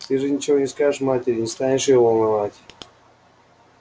ты же ничего не скажешь матери не станешь её волновать